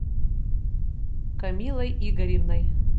камиллой игоревной